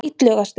Illugastöðum